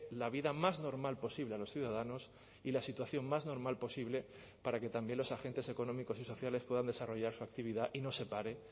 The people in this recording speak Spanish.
la vida más normal posible a los ciudadanos y la situación más normal posible para que también los agentes económicos y sociales puedan desarrollar su actividad y no se pare